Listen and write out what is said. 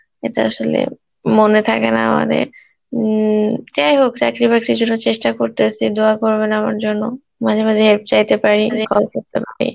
এটা আসলে মনে থাকে না আমাদের উম, যাই হোক চাকরি বাকরির জন্য চেষ্টা করতাছি Hindi করবেন আমার জন্য, মাঝে মাঝেই help চাইতে পারি, call করতে পারি